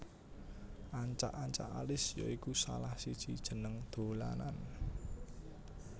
Ancak ancak Alis ya iku salah siji jeneng dolanan